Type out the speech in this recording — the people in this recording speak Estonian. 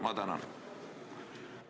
Ma tänan!